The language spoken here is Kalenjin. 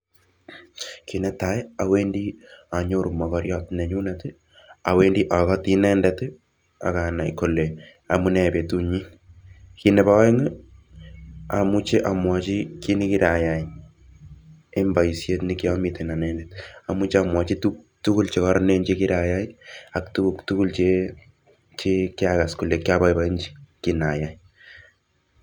Kit netai awendi anyoru mokoriat nenyunet, awendi akoti inendet akanai kole amunee betunyin, kit nepo aeng amuchi amwochi kit nekirayai en boisiet nekiamiten anendet amuche amwochi tugul chekororonen chekiraiyai ak tukuk tugul chekiakas kole kiboiboenji kinayai.